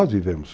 vivemos.